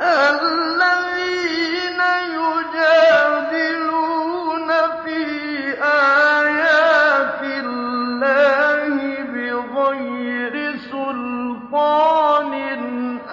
الَّذِينَ يُجَادِلُونَ فِي آيَاتِ اللَّهِ بِغَيْرِ سُلْطَانٍ